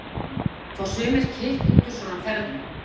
Gísli Óskarsson: Fá sumir kikk út úr svona ferðum?